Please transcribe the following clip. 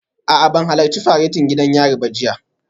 A'a ban halarci faretin gidan yari ba jiya